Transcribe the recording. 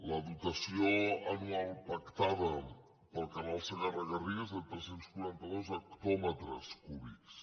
la dotació anual pactada pel canal segarra garrigues és de tres cents i quaranta dos hectòmetres cúbics